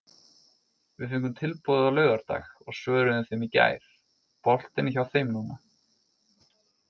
Við fengum tilboðið á laugardag og svöruðum þeim í gær, boltinn er hjá þeim núna.